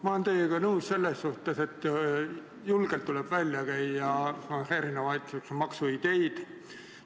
Ma olen teiega nõus selles suhtes, et julgelt tuleb välja käia erinevaid maksuideid.